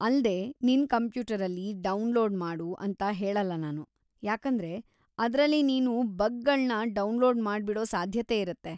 ಅಲ್ದೇ ನಿನ್‌ ಕಂಪ್ಯೂಟರಲ್ಲಿ ಡೌನ್ಲೋಡ್‌ ಮಾಡು ಅಂತ ಹೇಳಲ್ಲ ನಾನು, ಯಾಕಂದ್ರೆ ಅದ್ರಲ್ಲಿ ನೀನು ಬಗ್‌ಗಳ್ನ ಡೌನ್ಲೋಡ್ ಮಾಡ್ಬಿಡೋ ಸಾಧ್ಯತೆ ಇರತ್ತೆ.